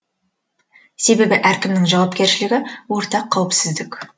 себебі әркімнің жауапкершілігі ортақ қауіпсіздік